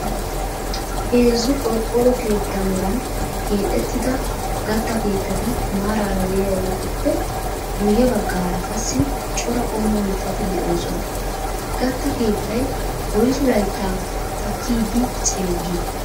Heezzu qorqoro keettaa meran keexettida gattaa keettati maaraara de"iyaageetuppe guyye baggaara qassi cora qommo mittati de'oosona. Gaatta keettay woyssu layttaa taakkidi ceeggi?